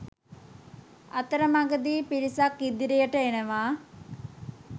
අතරමගදී පිරිසක් ඉදිරියට එනවා